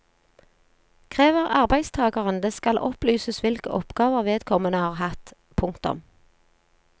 Krever arbeidstageren det skal det opplyses hvilke oppgaver vedkommende har hatt. punktum